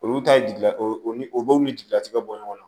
Olu ta ye jigilaw ni o dɔw ni jigilatigɛ bɔ ɲɔgɔn na